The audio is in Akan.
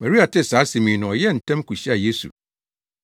Maria tee saa asɛm yi no ɔyɛɛ ntɛm kohyiaa Yesu.